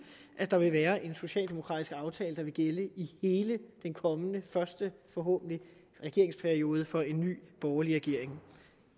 at der vil være en socialdemokratisk aftale der vil gælde i hele den kommende første forhåbentlig regeringsperiode for en ny borgerlig regering